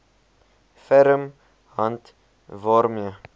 ferm hand waarmee